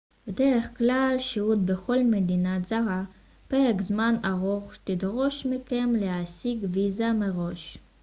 בדרך כלל שהות בכל מדינה זרה פרק זמן ארוך תדרוש מכם להשיג ויזה מראש